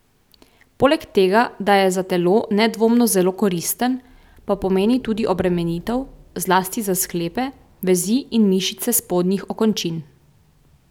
Poleg tega da je za telo nedvomno zelo koristen, pa pomeni tudi obremenitev, zlasti za sklepe, vezi in mišice spodnjih okončin.